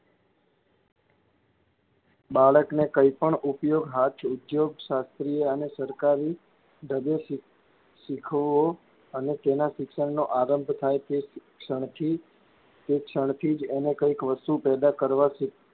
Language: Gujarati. બાળકને કઈ પણ ઉપયોગ હાથ ઉધોગ શાસ્ત્રીએ અને સરકારી ઢબે શીખવો અને તેના શિક્ષણનો આરંભ થાય તે ક્ષણથી તે ક્ષણથી જ એને કાઇંક વસ્તુ પેદા કરવાં,